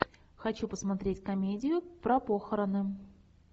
хочу посмотреть комедию про похороны